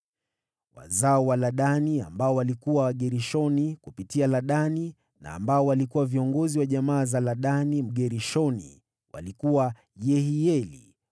Wazao wa Ladani, waliokuwa Wagershoni kupitia Ladani na waliokuwa viongozi wa jamaa za Ladani Mgershoni, walikuwa Yehieli,